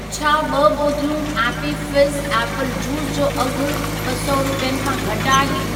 छा ॿ बोतलूं एप्पी फ़िज़्ज़ ऐपल ज्यूस जो अघि ॿ सौ रुपियनि खां घटि आहे?